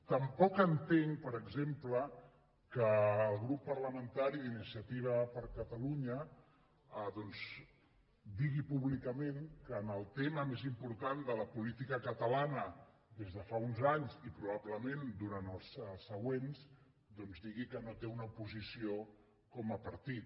tampoc entenc per exemple que el grup parlamentari d’iniciativa per catalunya doncs digui públicament que en el tema més important de la política catalana des de fa uns anys i probablement durant els següents no té una posició com a partit